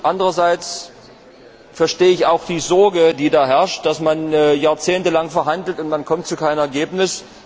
Anderseits verstehe ich auch die Sorge, die da herrscht, dass man jahrzehntelang verhandelt und man kommt zu keinem Ergebnis.